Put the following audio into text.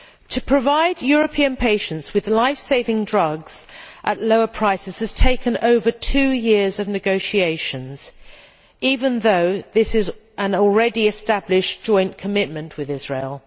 To provide European patients with life saving drugs at lower prices has taken over two years of negotiations, even though this is an already established joint commitment with Israel.